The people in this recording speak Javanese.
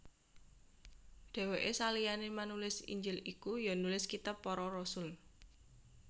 Dhèwèke saliyané manulis Injil iku ya nulis kitab Para Rasul